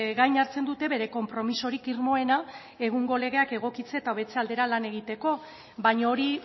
gain hartzen dute bere konpromisorik irmoena egungo legeak egokitzea eta hobetze aldera lan egiteko baina hori